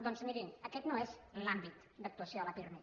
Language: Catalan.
doncs miri aquest no és l’àmbit d’actuació del pirmi